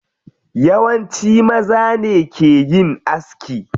Yawanci maza ne ke yin aski.